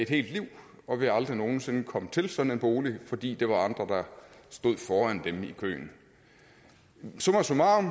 hele livet og vil aldrig nogen sinde komme til sådan en bolig fordi der var andre der stod foran dem i køen summa summarum